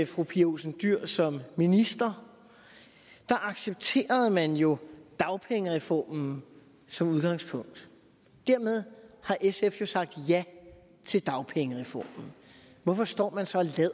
fru pia olsen dyhr som minister accepterede man jo dagpengereformen som udgangspunkt dermed har sf jo sagt ja til dagpengereformen hvorfor står man så